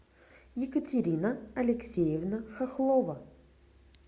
екатерина алексеевна хохлова